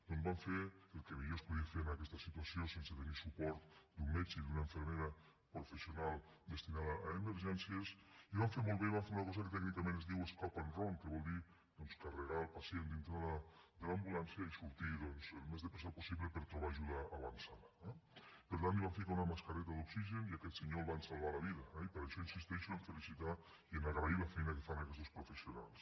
doncs van fer el que millor es podia fer en aquesta situació sense tenir suport d’un metge i d’una infermera professional destinada a emergències i ho van fer molt bé i van fer una cosa que tècnicament es diu escape and run que vol dir carregar el pacient dintre de l’ambulància i sortir el més de pressa possible per a trobar ajuda avançada eh per tant li van posar una mascareta d’oxigen i a aquest senyor li van salvar la vida eh i per això insisteixo a felicitar i agrair la feina que fan aquestos professionals